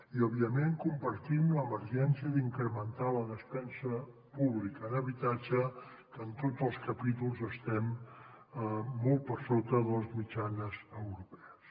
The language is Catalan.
i òbviament compartim l’emergència d’incrementar la despesa pública en habitatge que en tots els capítols estem molt per sota de les mitjanes europees